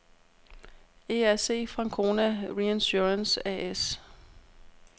ERC Frankona Reinsurance A/S